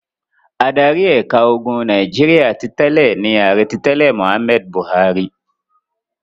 Adarí ẹ̀ka ogun Nàìjíríà ti tẹ́lẹ̀ ni Ààrẹ ti tẹ́lẹ̀ Mohammed Buhari.